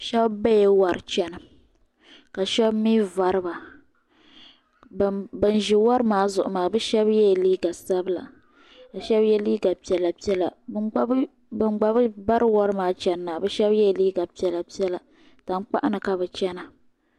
Shaba bala yuri chana ka shaba mi vari ba bin ʒi yuri maa zuɣu maa shaba yɛla liiga sabila ka shaba yɛ liiga piɛlla piɛlla bin gba bi bari yuri maa shaba gba yɛla liiga piɛlla piɛlla tankpaɣu ni ka bi chana.